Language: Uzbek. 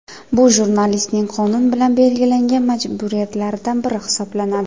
Bu jurnalistning qonun bilan belgilangan majburiyatlaridan biri hisoblanadi.